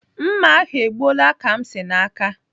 Mma ahụ e gbuola Kamsi n'aka.